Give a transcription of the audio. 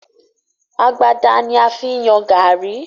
Agbada ni a fi ń yan gààrí.